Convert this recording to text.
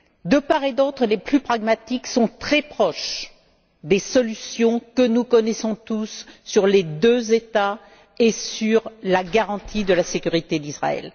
De part et d'autre, les plus pragmatiques sont très proches des solutions, que nous connaissons tous, sur les deux États et sur la garantie de la sécurité d'Israël.